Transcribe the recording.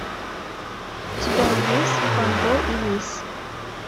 у тебя есть фандо и лис